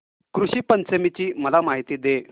ऋषी पंचमी ची मला माहिती दे